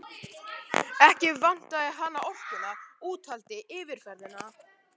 Ekki vantaði hana orkuna, úthaldið, yfirferðina.